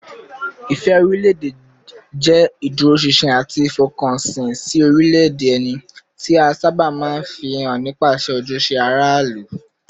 Ìfẹ́ orílẹ̀-èdè jẹ́ ìdúróṣinṣin àti ìfọkànsìn sí orílẹ̀-èdè ẹni, tí a sábà máa ń fi hàn nípasẹ̀ ojúṣe aráàlú